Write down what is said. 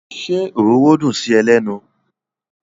Ṣé ororo dùn sí ẹ lẹ́nu?